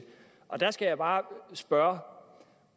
der skal jeg bare spørge